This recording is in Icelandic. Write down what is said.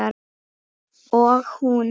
Og hún?